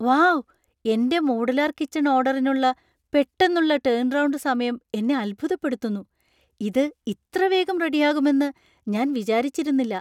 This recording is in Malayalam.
വൗ ! എന്‍റെ മോഡുലാർ കിച്ചൺ ഓർഡറിനുള്ള പെട്ടെന്നുള്ള ടേൺറൌണ്ട് സമയം എന്നെ അത്ഭുതപ്പെടുത്തുന്നു. ഇത് ഇത്ര വേഗം റെഡിയാകുമെന്ന് ഞാൻ വിചാരിച്ചിരുന്നില്ല!